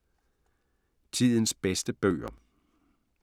Tidens bedste bøger